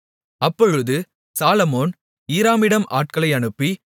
அப்பொழுது சாலொமோன் ஈராமிடம் ஆட்களை அனுப்பி